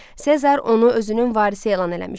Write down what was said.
Sezar onu özünün varisi elan eləmişdi.